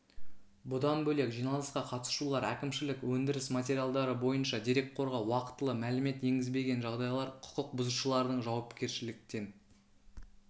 бұдан бөлек жиналысқа қатысушылар әкімшілік өндіріс материалдары бойынша дерекқорға уақтылы мәлімет енгізбеген жағдайлар құқық бұзушылардың жауапкершіліктен